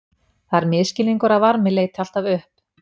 Það er misskilningur að varmi leiti alltaf upp.